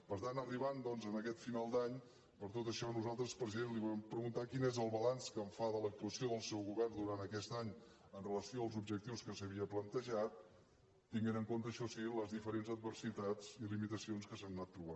per tant arribant a aquest final d’any per tot això nos·altres president li volem preguntar quin és el balanç que fa de l’actuació del seu govern durant aquest any amb relació als objectius que s’havia plantejat tenint en compte això sí les diferents adversitats i limita· cions que s’han anat trobant